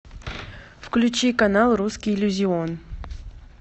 включи канал русский иллюзион